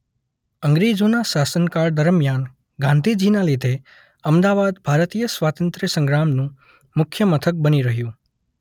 અંગ્રજોના શાસન કાળ દરમિયાન ગાંધીજીના લીધે અમદાવાદ ભારતીય સ્વાતંત્ર્ય સંગ્રામનું મુખ્ય મથક બની રહ્યું.